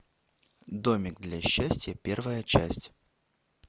домик для счастья первая часть